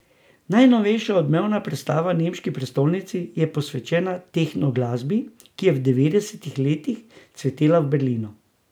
Najnovejša odmevna predstava v nemški prestolnici je posvečena tehnoglasbi, ki je v devetdesetih letih cvetela v Berlinu.